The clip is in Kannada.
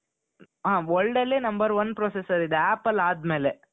ಹ world ಅಲ್ಲೇ number one processor ಇದೆ apple ಆದ್ಮೇಲೆ .